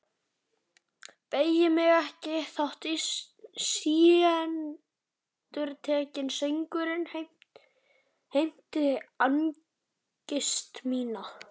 Beygi mig ekki þótt síendurtekinn söngurinn heimti angist mína.